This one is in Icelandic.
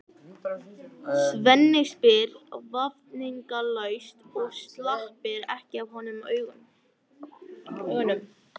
Svenni spyr vafningalaust og sleppir ekki af honum augunum.